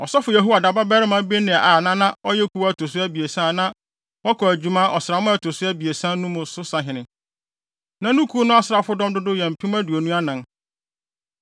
Ɔsɔfo Yehoiada babarima Benaia na na ɔyɛ kuw a ɛto so abiɛsa a na wɔkɔ adwuma ɔsram a ɛto so abiɛsa mu no so sahene. Na ne kuw no asraafodɔm dodow yɛ mpem aduonu anan (24,000).